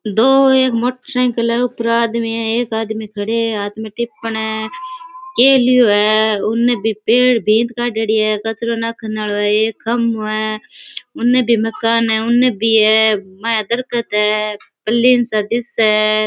दो मोटरसाइकिल है ऊपर एक आदमी है एक आदमी खड़े है आदमी टिप पड़े है के लियो है उने भी पेड़ भीत काडे डी है कचरो राखन आरो है एक खम्भों है उने भी मकान है उने भी है दरख्त है पलिम सा दिखे है।